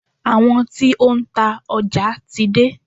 Àwọn tí ó ń ta ọjà ti dé.